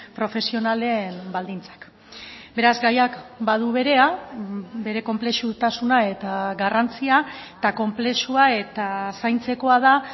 profesionalen baldintzak beraz gaiak badu berea bere konplexutasuna eta garrantzia eta konplexua eta zaintzekoa da